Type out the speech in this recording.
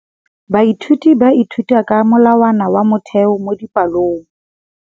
Baithuti ba ithuta ka molawana wa motheo mo dipalong.